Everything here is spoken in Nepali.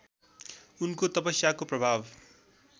उनको तपस्याको प्रभाव